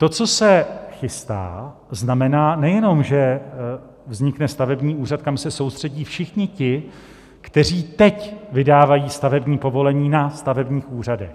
To, co se chystá, znamená nejenom, že vznikne stavební úřad, kam se soustředí všichni ti, kteří teď vydávají stavební povolení na stavebních úřadech.